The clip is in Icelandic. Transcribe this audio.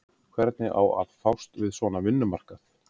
Hvernig á að fást við svona vinnumarkað?